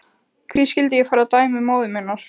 Hví skyldi ég fara að dæmi móður minnar?